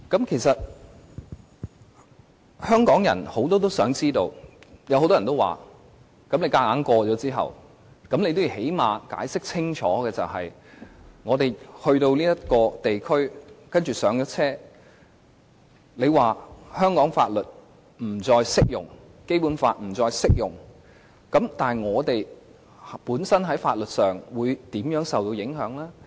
其實很多香港人也關心，即使政府強行通過方案，亦最低限度要解釋清楚，在我們走進這地區，上車之後，當香港的法律和《基本法》不再適用時，那麼適用於我們本身的法律，會受到甚麼影響？